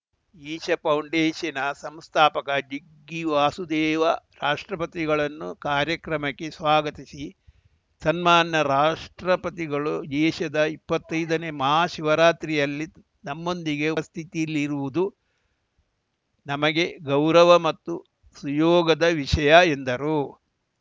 ಈಶ ಫೌಂಡೇಶನ್ನ ಸಂಸ್ಥಾಪಕ ಜಿಗ್ಗಿ ವಾಸುದೇವ ರಾಷ್ಟ್ರಪತಿಗಳನ್ನು ಕಾರ್ಯಕ್ರಮಕ್ಕೆ ಸ್ವಾಗತಿಸಿ ಸನ್ಮಾನ್ಯ ರಾಷ್ಟ್ರಪತಿಗಳು ಈಶದ ಇಪ್ಪತ್ತೈದನೇ ಮಹಾಶಿವರಾತ್ರಿಯಲ್ಲಿ ನಮ್ಮೊಂದಿಗೆ ಉಪಸ್ಥಿತಿಯಲ್ಲಿರುವುದು ನಮಗೆ ಗೌರವ ಮತ್ತು ಸುಯೋಗದ ವಿಷಯ ಎಂದರು